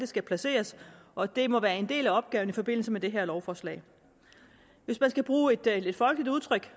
skal placeres og det må være en del af opgaven i forbindelse med det her lovforslag hvis man skal bruge et lidt folkeligt udtryk